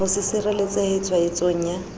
ho se sireletsehe tshwaetsong ya